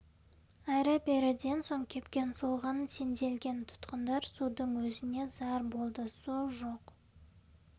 әрі-беріден соң кепкен солған сенделген тұтқындар судың өзіне зар болды су жоқ